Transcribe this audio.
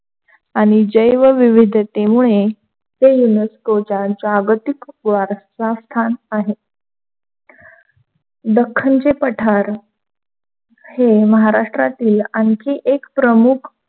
आणि जैवविविधतेमुळे ते युनिस्को चा जागतिक वारसा स्थान आहे. दख्खनचे पठार हे महाराष्ट्रातील आणखी एक प्रमुख,